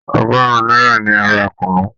Ọgọ́rùn-ún náírà ni a ra kùnú.